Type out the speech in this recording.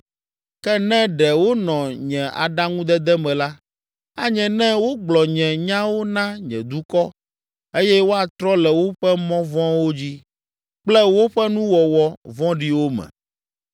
Ke ne ɖe wonɔ nye aɖaŋudede me la, anye ne wogblɔ nye nyawo na nye dukɔ eye woatrɔ le woƒe mɔ vɔ̃wo dzi kple woƒe nuwɔwɔ vɔ̃ɖiwo me.”